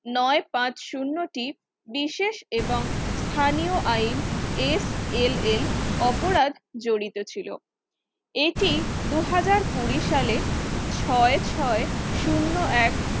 নয় পাচ শুন্য তিন বিশেষ এবং স্থানীয় আইন SLL অপরাধ জড়িত ছিলো। এটি দুহাজার কুড়ি সালে ছয় ছয় শুন্য এক